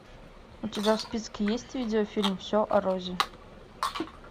у тебя в списке есть видеофильм все о розе